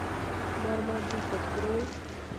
мармадюк открой